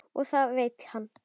Og það veit hann.